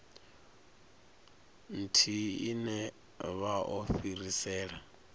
ithihi ine vha o fhirisela